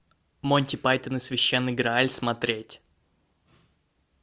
монти пайтон и священный грааль смотреть